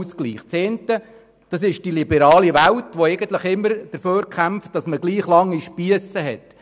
Die eine ist die liberale Welt, die immer dafür kämpft, dass man gleich lange Spiesse hat.